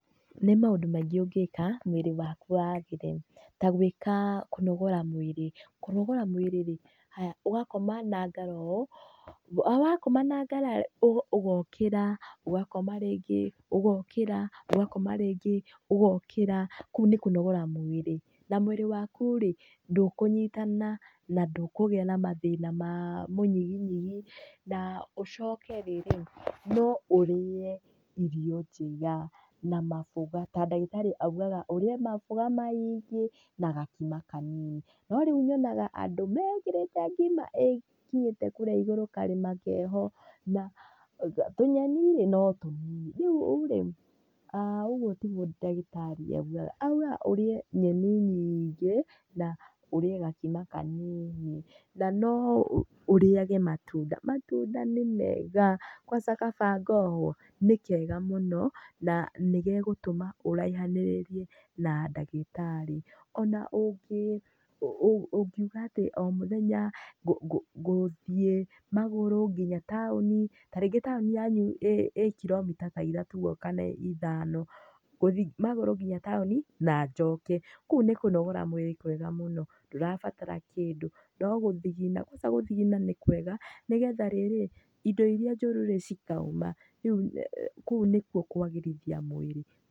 Nĩ maũndũ maingĩ ũngĩka mwĩrĩ waku wagĩre. Ta gwĩka, kũnogora mwĩrĩ. Kũnogora mwĩrĩ rĩ haya ũgakoma na ngara ũũ, o wakoma na ngara ũgokĩra, ũgakoma rĩngĩ ũgokĩra ũgakoma rĩngĩ, ũgokĩra kũu nĩ kũnogora mwĩrĩ ndũkũnyitana na ndũkũgĩa na mathĩna ma mũnyiginyigi na ũcoke rĩrĩ no ũrĩe irio njega na maboga. Ta ndagĩtarĩ oigaga ũrĩe maboga maingĩ na gakima kanini. No rĩu nyonaga andũ mekĩrĩte ngima ĩkinyĩte kũrĩa igũrũ karĩma keho na tũnyeni rĩ no tũnini. Rĩu rĩ, ũguo tiguo ndagĩtarĩ oigaga. Oigaga ũrĩe nyeni nyingĩ na ũrĩe gakima kanini. Na no ũrĩage matunda, matunda ni mega kwanza kaba ngohũo nĩ kega na nĩ gegũtũma ũraihanĩrĩrie na ndagĩtarĩ. Ona ũngiuga atĩ o mũthenya gũthiĩ magũrũ nginya taũni, ta rĩngĩ taũni yanyu ĩĩ kiromita ta ithatũ ũguo kana ithano, ngũthiĩ magũrũ nginya taũni na njoke. Kũu nĩ kũnogora mwĩrĩ kwega mũno, ndũrabatara kĩndũ no gũthigina kwanza gũthigina nĩ kwega nĩgetha rĩrĩ indo irĩa njũru rĩ cikoima. Kũu nĩkuo kwagĩrithia mwĩrĩ.